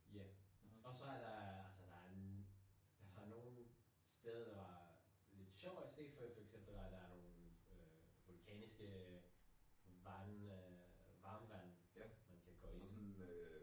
Ja. Og så er der altså der er der var nogen steder der var lidt sjov at se for for eksempel var der nogle øh vulkaniske vand øh varmtvand man kan gå ind